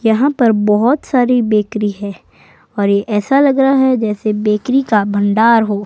यहां पर बहोत सारी बेकरी है और ये ऐसा लग रहा है जैसे बेकरी का भंडार हो।